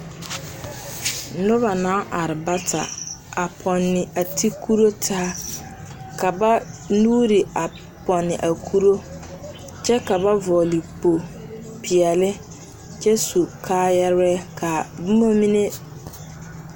Noba naa are bata a pɔnne a ti kuroo taa, ka ba nuuri a pɔnne a kuroo kyɛ ka ba vɔgele kpopeɛle kyɛ su kaayɛrɛɛ kaa bomɔ mine...